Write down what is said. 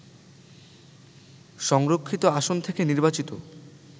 সংরক্ষিত আসন থেকে নির্বাচিত